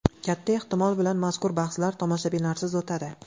Katta ehtimol bilan mazkur bahslar tomoshabinlarsiz o‘tadi.